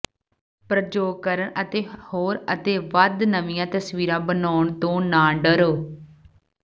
ਪ੍ਰਯੋਗ ਕਰਨ ਅਤੇ ਹੋਰ ਅਤੇ ਵੱਧ ਨਵੀਆਂ ਤਸਵੀਰਾਂ ਬਣਾਉਣ ਤੋਂ ਨਾ ਡਰੋ